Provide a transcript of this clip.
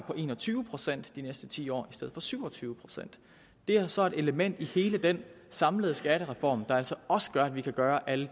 på en og tyve procent de næste ti år i stedet for syv og tyve procent det er så det element i hele den samlede skattereform der altså også gør at vi kan gøre alle